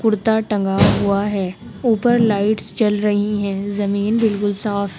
कुर्ता टंगा हुआ है। ऊपर लाइटस जल रही हैं। जमीन बिल्कुल साफ --